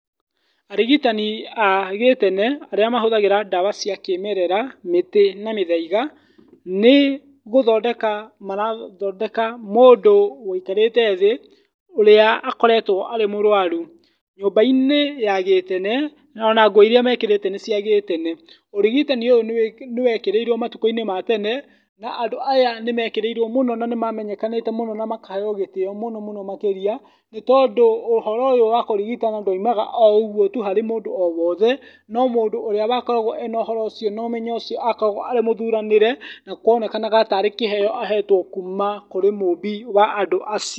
Arigitani a gĩtene ,arĩa mahũthagĩra ndawa cia kĩmerera mĩtĩ na mĩthaiga, nĩ gũthondeka mara thondeka mũndũ woikarĩte thĩ ũrĩa akoretwo arĩ mũrwaru. Nyũmba -inĩ ya gĩtene ona nguo irĩa mekĩrĩte nĩ cia gĩtene, ũrigitani ũyũ nĩwekĩrĩirwo matukũ ma tene, andũ aya nĩ mekĩrĩirwo nĩ mamenyekanĩte mũno na makaheo gĩtĩo makĩria nĩ tondũ ũhoro ũyũ wakũrigitana ndwaumaga o mũndũ wothe, mũndũ wakoragwo na ũmenyo ũcio akoragwo e mũthuranĩre na nĩkĩheo ahetwo kuma mũmbi wa andũ aci.